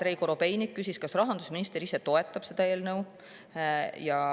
Andrei Korobeinik küsis, kas rahandusminister ise toetab seda eelnõu.